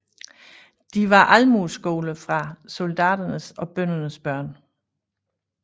De var Almueskoler for soldaternes og bøndernes børn